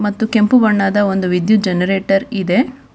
ಮತ್ತು ಒಂದು ಕೆಂಪು ಬಣ್ಣದ ವಿದ್ಯುತ್ ಜನರೇಟರ್ ಇದೆ.